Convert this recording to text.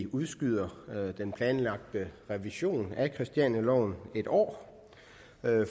udskyde den planlagte revision af christianialoven et år